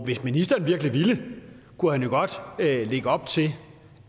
hvis ministeren virkelig ville kunne han jo godt lægge op til